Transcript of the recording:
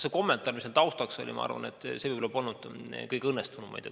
See kommentaar, mis seal taustaks oli, ei olnud minu arvates võib-olla kõige õnnestunum.